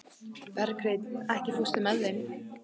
Berghreinn, ekki fórstu með þeim?